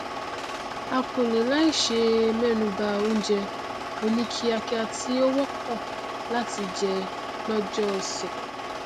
n kò lè sàì mẹnuba oúnjẹ oní kíakía tí ó wọpọ láti jẹ lọjọ ọsẹ